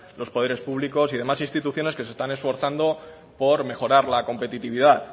los poderes públicos y demás instituciones que se están esforzando por mejorar la competitividad